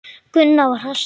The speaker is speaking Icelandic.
Gunnar var hastur.